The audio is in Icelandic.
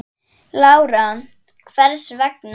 Lára: Hvers vegna?